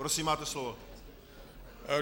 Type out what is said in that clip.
Prosím, máte slovo.